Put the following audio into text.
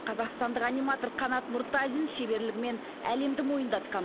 қазақстандық аниматор қанат нұртазин шеберлігімен әлемді мойындатқан